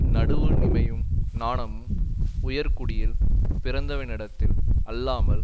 நடுவு நிமையும் நாணமும் உயர்குடியில் பிறந்தவனிடத்தில் அல்லாமல்